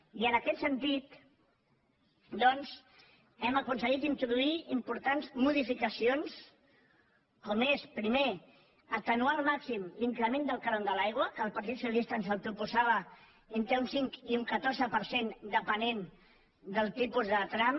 i en aquest sentit doncs hem aconseguit introduir importants modificacions com és primer atenuar al màxim l’increment del cànon de l’aigua que el partit socialista ens el proposava entre un cinc i un catorze per cent depenent del tipus de tram